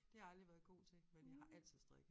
Det har jeg aldrig været god til men jeg har altid strikket